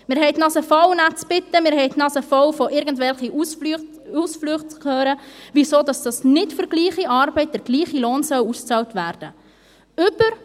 Wir haben die Nase voll, nett zu bitten, wir haben die Nase voll davon, irgendwelche Ausflüchte zu hören, weshalb für gleiche Arbeit nicht der gleiche Lohn ausbezahlt werden soll.